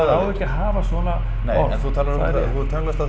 á ekki að hafa svona orð þú hefur tönnlast á